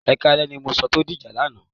Ẹ káalẹ́ ni mo sọ tó dìjà lánàá.